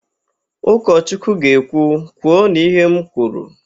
Ụkọchukwu ga-ekwu, " kwuonu ihe m kwuru"!